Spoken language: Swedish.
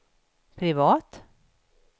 privat